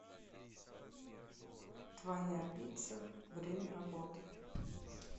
твоя пицца время работы